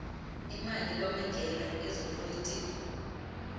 imali kwamagela ezopolitiko